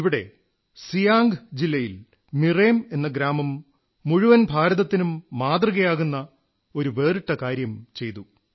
ഇവിടെ സിയാംഗ് ജില്ലയിൽ മിറേം എന്ന ഗ്രാമം മുഴുവൻ ഭാരതത്തിനും ഉദാഹരണമാകുന്ന ഒരു വേറിട്ട കാര്യം ചെയ്തു